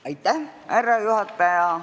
Austatud härra juhataja!